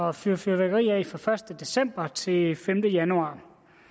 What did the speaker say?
at fyre fyrværkeri af fra første december til femte januar